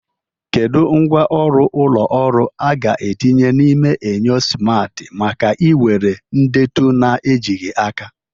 Kedu ngwá ọrụ ụlọ ọrụ a ga-etinye n'ime enyo simarti maka iwere ndetu na-ejighị aka?